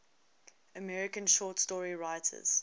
american short story writers